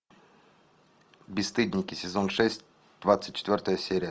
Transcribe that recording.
бесстыдники сезон шесть двадцать четвертая серия